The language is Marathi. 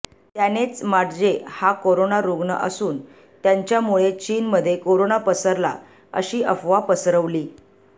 त्यानेच माट्जे या कोरोना रुग्ण असून त्यांच्यामुळे चीनमध्ये कोरोना पसरला अशी अफवा पसरवली